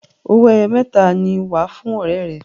owoeye mẹta ní wá fún ọrẹ rè.